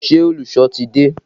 Ṣé olùsọ ti dé?